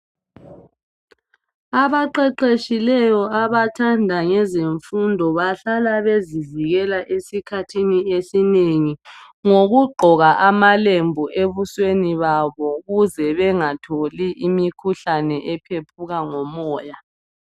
abaqeqetshileyo abathanda ngezemfundo bahlala bezivikela esikhathi esinengi ngokugqoka ama lembu ebusweni babo ukuze bengatholi imikhuhlane ephephuka ngomoya